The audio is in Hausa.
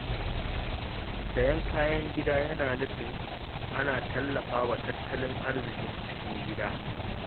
Sayen kayan gida yana nufin ana tallafa wa tattalin arziƙin cikin gida.